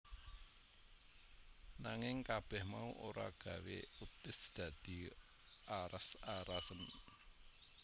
Nanging kabeh mau ora gawé Otis dadi aras arasen